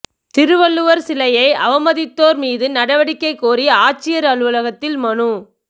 திருவள்ளுவா் சிலையை அவமதித்தோா் மீது நடவடிக்கை கோரி ஆட்சியா் அலுவலகத்தில் மனு